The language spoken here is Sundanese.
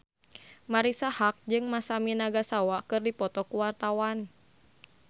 Marisa Haque jeung Masami Nagasawa keur dipoto ku wartawan